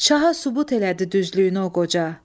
Şaha sübut elədi düzlüyünü o qoca.